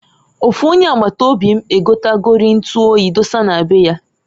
Ofu onye agbata obi m egotagori ntu oyi dosa na be ya.